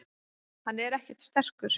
Hann er ekkert sterkur.